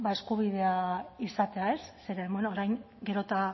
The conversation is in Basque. eskubidea izatea zeren bueno orain gero eta